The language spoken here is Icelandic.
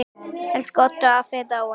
Elsku Oddur afi er dáinn.